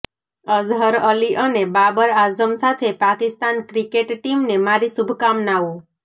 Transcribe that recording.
અઝહર અલી અને બાબર આઝમ સાથે પાકિસ્તાન ક્રિકેટ ટીમને મારી શુભકામનાઓ